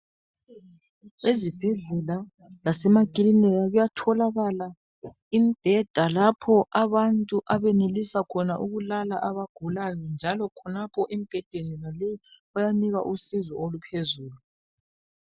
Ezibhedlela lasemakilinika kuyatholakala imbheda lapho abantu abenelisa khona ukulala abagulayo njalo khonapho embhedeni yonaleyo bayanikwa usizo oluphezulu.